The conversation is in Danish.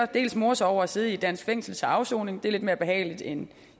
dels more sig over at sidde i et dansk fængsel til afsoning for det er lidt mere behageligt end